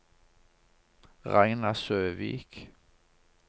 Ragna Søvik